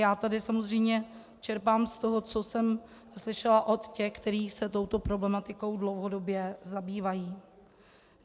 Já tady samozřejmě čerpám z toho, co jsem slyšela od těch, kteří se touto problematikou dlouhodobě zabývají.